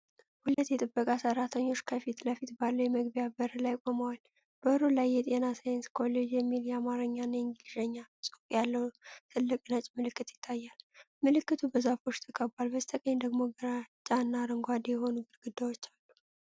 ሁለት የጥበቃ ሠራተኞች ከፊት ለፊት ባለው የመግቢያ በር ላይ ቆመዋል። በሩ ላይ "የጤና ሳይንስ ኮሌጅ" የሚል የአማርኛና የእንግሊዝኛ ጽሑፍ ያለው ትልቅ ነጭ ምልክት ይታያል። ምልክቱ በዛፎች ተከቧል፣ በስተቀኝ ደግሞ ግራጫና አረንጓዴ የሆኑ ግድግዳዎች አሉ።